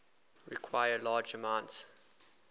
require large amounts